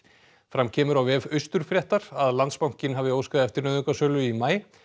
fram kemur á vef að Landsbankinn hafi óskað eftir nauðungarsölu í maí